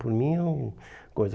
Por mim é um coisa.